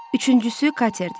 Üçüncüsü Katerdir.